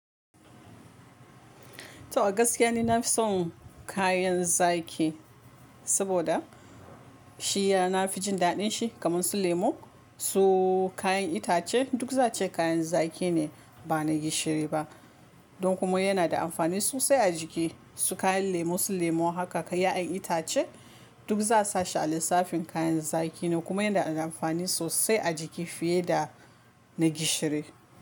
To, a gaskiya ni na fi son kayan zaki, saboda shi ya na fi jin daɗin shi. Kaman su lemo, su kayan itace duk za ce kayan zaki ne ba na gishiri ba. Don kuma yana da amfani sosai a jiki. Su kayan lemo, su lemo haka, kayan itace duk za'a sa shi a lissafin kayan zaki ne. Kuma yana da amfani sosai a jiki fiye da na gishiri.